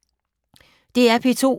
DR P2